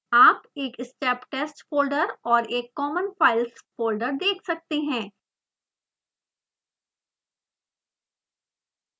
आप एक steptest folder और एक common files फोल्डर देख सकते हैं